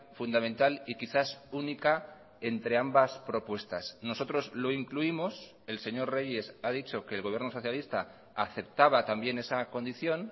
fundamental y quizás única entre ambas propuestas nosotros lo incluimos el señor reyes ha dicho que el gobierno socialista aceptaba también esa condición